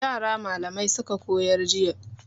Yara malamai suka koyar jiya.